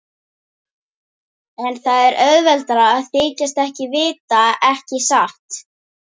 En það er auðveldara að þykjast ekkert vita, ekki satt.